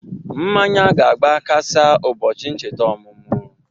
Mmanya ga-agba kasa ubọchi ncheta omụmụ